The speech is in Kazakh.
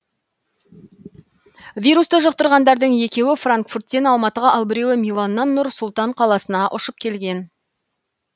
вирусты жұқтырғандардың екеуі франкфурттен алматыға ал біреуі миланнан нұр сұлтан қаласына ұшып келген